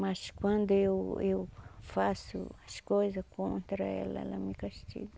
Mas quando eu eu faço as coisas contra ela, ela me castiga.